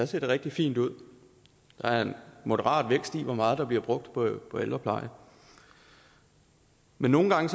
set rigtig fine ud der er en moderat vækst i hvor meget der bliver brugt på ældreplejen men nogle gange